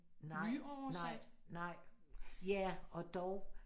Nej nej nej ja og dog